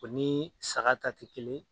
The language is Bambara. O ni saga ta tɛ kelen